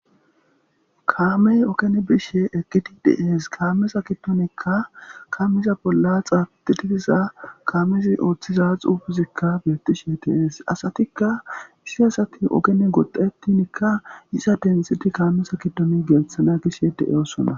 Kaamey okene bishe eqqiti diees kaamesa kidonikka kamiza bolla xaatitiiza kamizi ooththiza xuufizikka beettishe teees asatikka issi asati okene goddetinikka yiza densiti kaamesa kidoni geeththana gishe de'eosona.